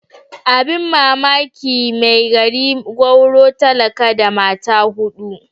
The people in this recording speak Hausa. Abin mamaki mai gari gwauro talaka da mata hudu.